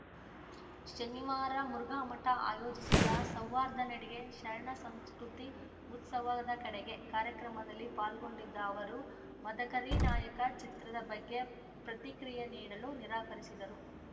ಶನಿವಾರ ಮುರುಘಾಮಠ ಆಯೋಜಿಸಿದ್ದ ಸೌಹಾರ್ದ ನಡಿಗೆ ಶರಣ ಸಂಸ್ಕೃತಿ ಉತ್ಸವದ ಕಡೆಗೆ ಕಾರ್ಯಕ್ರಮದಲ್ಲಿ ಪಾಲ್ಗೊಂಡಿದ್ದ ಅವರು ಮದಕರಿನಾಯಕ ಚಿತ್ರದ ಬಗ್ಗೆ ಪ್ರತಿಕ್ರಿಯೆ ನೀಡಲು ನಿರಾಕರಿಸಿದರು